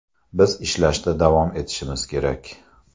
Biz ishlashda davom etishimiz kerak.